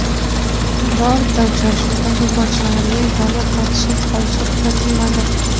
Birorta uchrashuvda futbolchilarning tomir tortishib qolishi kuzatilmadi.